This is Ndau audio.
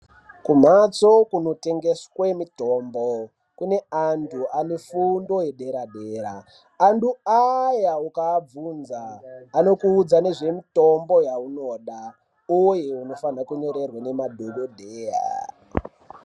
Kumhatso kunotengeswa mitombo kune antu anefundo yedera-dera antu aya ukaabvunza anokuudza nezvemitombo yeunoda uye unofane kunyorerwa ngema dhogodheya.